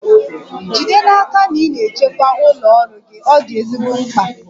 Jide n'aka na ị na-echekwa ụlọ ọrụ gị, ọ dị ezigbo mkpa.